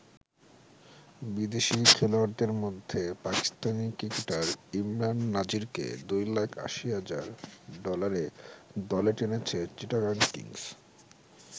বিদেশি খেলোয়াড়দের মধ্যে পাকিস্তানী ক্রিকেটার ইমরান নাজিরকে দুই লাখ ৮০ হাজার ডলারে দলে টেনেছে চিটাগাং কিংস।